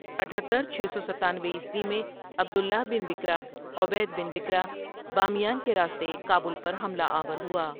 اتھترچھ سو ستینوے عیسوی میں عبد اللہ بن بکرۃ عبید بن بکرۃ بامیان کے راستے کابل پر حملہ آور ہوا۔